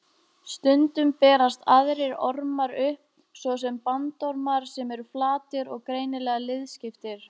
Stundum berast aðrir ormar upp, svo sem bandormar sem eru flatir og greinilega liðskiptir.